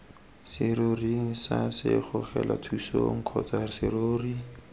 seroring sa segogelathusong kgotsa serori